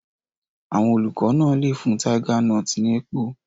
Àwọn olùkọ́ náà lè fún tiger nuts ní èpò.